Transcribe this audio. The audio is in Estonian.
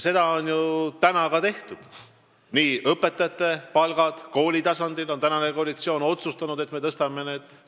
Seda on ju ka tehtud – praegune koalitsioon on otsustanud, et me tõstame õpetajate palka.